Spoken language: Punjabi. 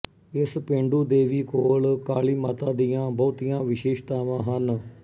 ਇਸ ਪੇਂਡੂ ਦੇਵੀ ਕੋਲ ਕਾਲੀ ਮਾਤਾ ਦੀਆਂ ਬਹੁਤੀਆਂ ਵਿਸ਼ੇਸ਼ਤਾਵਾਂ ਹਨ